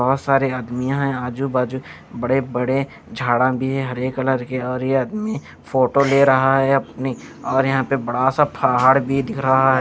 बहोत सारे आदमीयां हैं आजू बाजू बड़े बड़े झाड़ा भी है हरे कलर के और ये आदमी फोटो ले रहा है अपनी और यहां पे बड़ा सा फहाड़ भी दिख रहा--